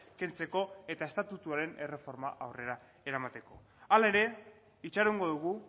kentzeko eta estatutuaren erreforma aurrera eramateko hala ere itxarongo dugu